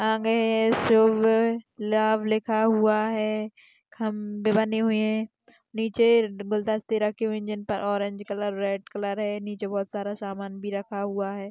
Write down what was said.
आ गए है शुभ-लाभ लिखा हुआ है खंबे बनी हुई है नीचे रखी हुई ऑरेंज कलर रेड कलर है नीचे बहूत सारा सामान भी रखा हुआ है।